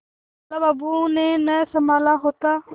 लाला बाबू ने न सँभाला होता